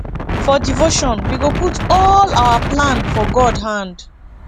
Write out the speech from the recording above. for devotion we go put all our plan for god hand